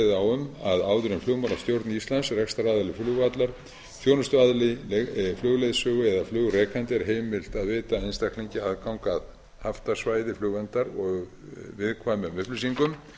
um að áður en flugmálastjórn íslands rekstraraðili flugvallar þjónustuaðili flugleiðsögu eða flugrekanda er heimilt að veita einstaklingi aðgang að haftasvæði flugverndar og viðkvæmum upplýsingum